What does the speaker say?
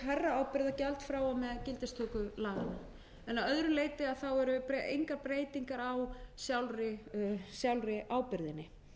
hærra ábyrgðargjald frá og með gildistöku laganna að öðru leyti eru engar breytingar á sjálfri ábyrgðinni